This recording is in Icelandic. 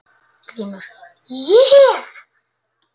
GRÍMUR: Ég?